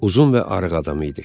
Uzun və arıq adam idi.